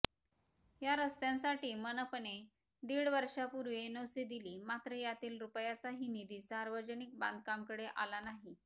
या रस्त्यांसाठी मनपाने दीड वर्षापूर्वी एनओसी दिली मात्र यातील रूपयाचाही निधी सार्वजनिक बांधकामकडे आला नाही